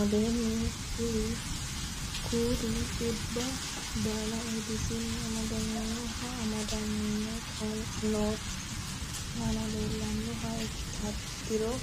aleenni kulli dhibbi baalu Eedisinni amadaminohu amadantinote aana leellannohano ikkiro